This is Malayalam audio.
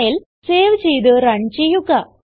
ഫയൽ സേവ് ചെയ്ത് റൺ ചെയ്യുക